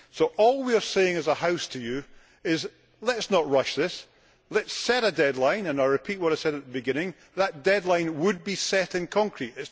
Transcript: So all we are saying as a House to you is, let us not rush this, let us set a deadline. And I will repeat what I said at the beginning that deadline would be set in concrete.